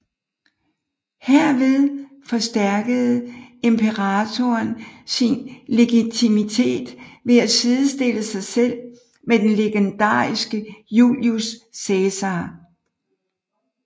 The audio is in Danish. Herved forstærkede imperatoren sin legitimitet ved at sidestille sig selv med den legendariske Julius Cæsar